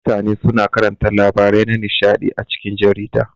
Mutane suna karanta labarai na nishaɗi a cikin jarida.